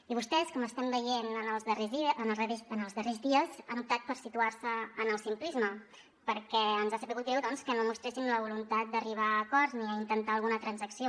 i vostès com estem veient en els darrers dies han optat per situar se en el simplisme perquè ens ha sabut greu que no mostressin la voluntat d’arribar a acords ni a intentar alguna transacció